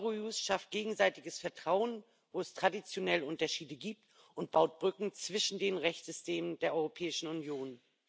Eurojust schafft gegenseitiges Vertrauen, wo es traditionell Unterschiede gibt, und baut Brücken zwischen den Rechtssystemen der Europäischen Union.